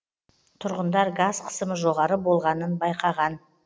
тұрғындар газ қысымы жоғары болғанын байқаған